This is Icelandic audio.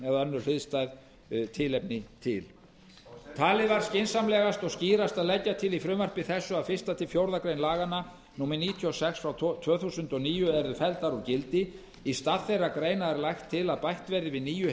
eða önnur hliðstæð tilefni til talið var skynsamlegast og skýrast að leggja til í frumvarpi þessu að fyrstu til fjórðu grein gildandi laga númer níutíu og sex tvö þúsund og níu yrðu felldar úr gildi í stað þeirra greina er lagt til að bætt verði við nýju